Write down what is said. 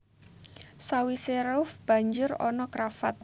Sawisé ruff banjur ana cravat